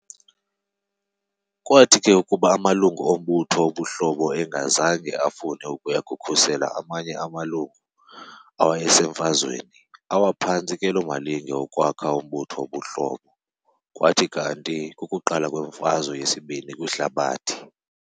Kwathi ke kuba amalungu ombutho wobuHlobo engazange afune ukuya kukhusela amanye amalungu awayeseMfazweni, awa phantsi ke loo malinge okwakha umbutho wobuHlobo, kwathi kanti kukuqala kweMfazwe yesiBini kwiHlabathi.